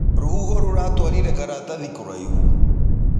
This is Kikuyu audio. Rũhũho rũratwarĩre karatathĩ kũaĩhũ.